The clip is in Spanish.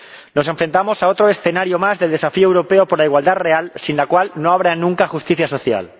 Nos enfrentamos a otro escenario más de desafío europeo por la igualdad real, sin la cual no habrá nunca justicia social.